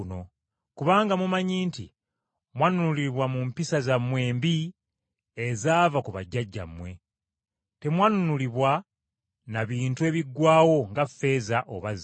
Kubanga mumanyi nti mwanunulibwa mu mpisa zammwe embi ezaava ku bajjajjammwe. Temwanunulibwa na bintu ebiggwaawo nga ffeeza oba zaabu.